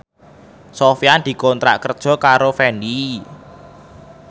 Sofyan dikontrak kerja karo Fendi